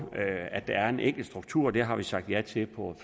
at der er en enkel struktur det har vi sagt ja til på